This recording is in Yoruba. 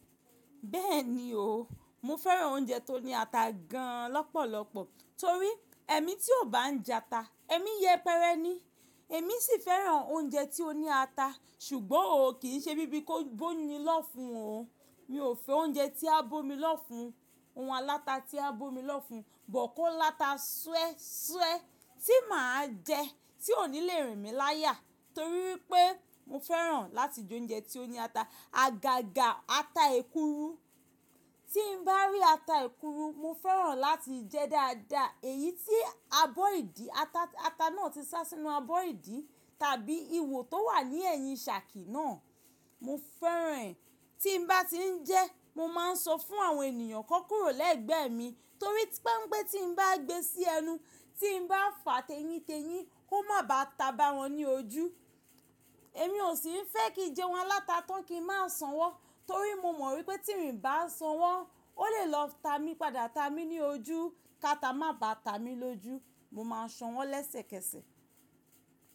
Bẹ́ẹ̀ni o, mo fẹ́ràn oúnjẹ tó ní ata gan lọ́pọ̀lọpọ̀ torí èmi tí ò bá ń jata, èmi yẹpẹrẹ ni. Èmi sì fẹ́ràn oúnjẹ tí ó ní ata, ṣùgbọ́n ò kí í ṣe bí bíi kó bóni lọ́fun o. Mi ò fẹ́ oúnjẹ tí á bómi lọ́fun, ohun aláta tí á bómi lọ́fun, but ko láta súẹ́súẹ́ tí màá jẹ tí ò ní le rìn mí láyà torí wipé mo fẹ́ràn láti jẹ oúnjẹ tí ó ní ata. Àgàgà ata ekuru, tí n bá rí ata ekuru, mo fẹ́ràn láti jẹ e dáadáa èyí tí abọ́ ìdí ata, ata náà ti sá sínú abọ́ ìdí tàbí iwò tó wà ní ẹ̀yìn ṣàkì náà. Mo fẹ́ràn ẹ̀. Tí n bá ti ń jẹ ẹ́, mo máa ń sọ fún àwọn ènìyàn kan kúrò lẹ́gbẹ̀ẹ́ mi torí pa n pe tí n bá gbé sí ẹnu, tí n bá fà a tẹ́yíntẹ́yín, kó má báa ta bá wọn ní ojú. Èmi ò sì ń fẹ́ kí n jẹun aláta tán kí ń má sanwó torí mo mọ̀ wípé tí n bá sanwó, ó lè lọ ta mi padà ta mi ní ojú. Káta má bá ta mi lójú, mo ma sanwó lẹ́sẹ̀kẹsẹ̀